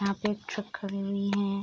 यहाँ पे एक ट्रक खड़ी हुई है।